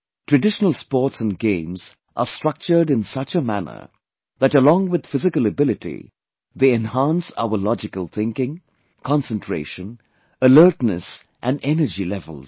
Traditional sports and games are structured in such a manner that along with physical ability, they enhance our logical thinking, concentration, alertness and energy levels